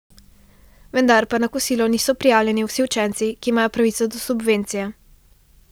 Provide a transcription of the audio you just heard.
Vendar pa na kosilo niso prijavljeni vsi učenci, ki imajo pravico do subvencije.